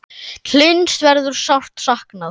Hlyns verður sárt saknað.